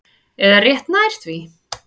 Eða rétt nær því.